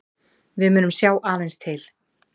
Við munum sjá aðeins til